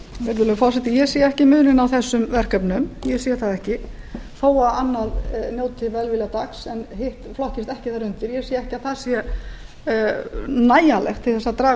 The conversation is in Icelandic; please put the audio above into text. virðulegi forseti ég sé ekki muninn á þessum verkefnum þó að annað njóti velvilja gatts en hitt flokkist ekki þar undir ég sé ekki að það sé nægjanlegt til að draga